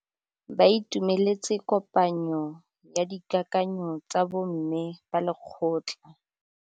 Ba itumeletse kôpanyo ya dikakanyô tsa bo mme ba lekgotla.